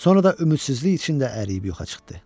Sonra da ümidsizlik içində əriyib yoxa çıxdı.